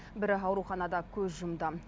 бірі ауруханада көз жұмды